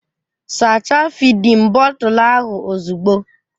Sachaa fịdin bọtul ahụ ozugbo!